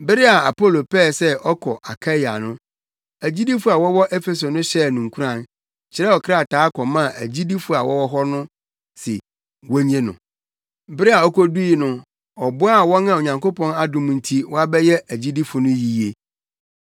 Bere a Apolo pɛɛ sɛ ɔkɔ Akaia no, agyidifo a wɔwɔ Efeso no hyɛɛ no nkuran, kyerɛw krataa kɔmaa agyidifo a wɔwɔ hɔ no se wonnye no. Bere a okodui no, ɔboaa wɔn a Onyankopɔn adom nti wɔabɛyɛ agyidifo no yiye.